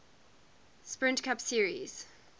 sprint cup series